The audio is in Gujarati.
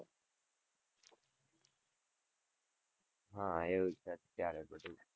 હા એવું જ છે અત્યારે બધું.